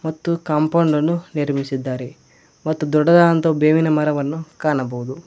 ಮತ್ತು ಕಾಂಪೌಂಡನ್ನು ನಿರ್ಮಿಸಿದ್ದಾರೆ ಮತ್ತು ದೊಡ್ಡದಾದಂತ ಬೇವಿನ ಮರವನ್ನು ಕಾಣಬಹುದು.